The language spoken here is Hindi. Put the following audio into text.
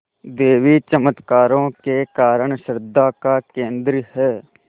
देवी चमत्कारों के कारण श्रद्धा का केन्द्र है